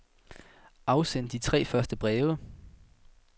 Afsend de tre første breve.